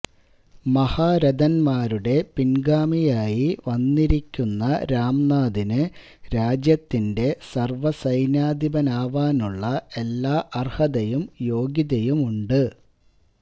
മഹാരഥന്മാരുടെ പിന്ഗാമിയായി വന്നിരിക്കുന്ന രാംനാഥിന് രാജ്യത്തിന്റെ സര്വസൈന്യാധിപനാവാനുള്ള എല്ലാ അര്ഹതയും യോഗ്യതയുമുണ്ട്